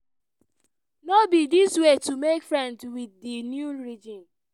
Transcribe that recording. no be di way to make friends with di new regime."